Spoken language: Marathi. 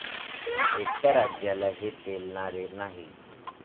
एकट्या राज्याला हे पेलणारे नाही.